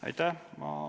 Aitäh!